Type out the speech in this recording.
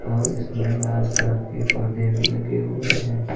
और इसमें लाल कलर के पर्दे भी लगे हुए हैं।